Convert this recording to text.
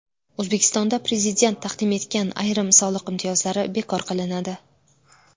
O‘zbekistonda Prezident taqdim etgan ayrim soliq imtiyozlari bekor qilinadi.